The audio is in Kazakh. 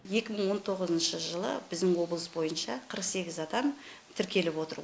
екі мың он тоғызыншы жылы біздің облыс бойынша қырық сегіз адам тіркеліп отыр